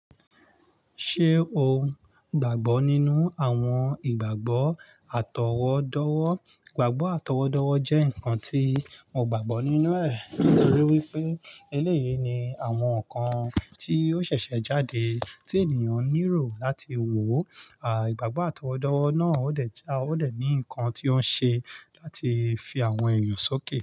Ṣé o gbàgbọ́ nínú àwọn ìgbàgbọ́ àtọwọ́dọ́wọ́? Ìgbàgbọ́ àtọwọ́dọ́wọ́ jẹ́ nǹkan tí mo gbàgbọ́ nínú rẹ̀ nítorí wípé eléyìí ni àwọn nǹkan tí ó ṣẹ̀ṣẹ̀ jáde tí ènìyàn nílò láti wò ó. À, ìgbàgbọ́ àtọwọ́dọ́wọ́ náà ó dẹ̀ je, ó dẹ̀ ní nǹkan tí ó ń ṣe láti fi àwọn èèyàn sókè.